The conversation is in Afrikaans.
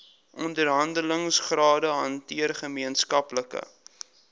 onderhandelingsrade hanteer gemeenskaplike